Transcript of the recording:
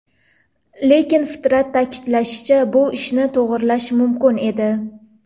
Lekin Fitrat ta’kidlashicha, bu ishni to‘g‘irlash mumkin edi.